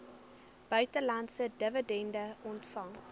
buitelandse dividende ontvang